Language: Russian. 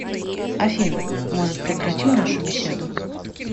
афина может прекратим нашу беседу